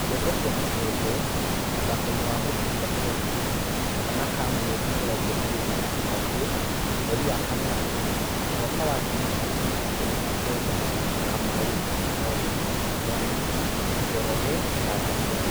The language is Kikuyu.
Ndeto cia Mũhuhu mũthakoinĩ wa mũbĩra Kenya, Kana ka mweri mĩrongo ĩrĩ na ĩtatũ, mweri wa kanana, mwaka wa ngiri igĩrĩ na ikũmi na kenda: Kamau, Mwangi, Mwaniki, Njoroge, Karanja